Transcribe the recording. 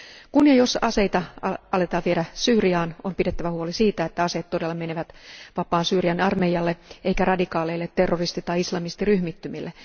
Kun ja jos aseita aletaan viedä Syyriaan, on pidettävä huoli siitä, että aseet todella menevät vapaan Syyrian armeijalle eivätkä radikaaleille terroristi tai islamistiryhmittymille.